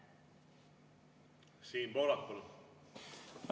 Siim Pohlak, palun!